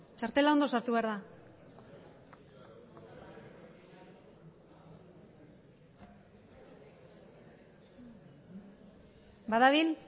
txartela ongi sartu behar da badabil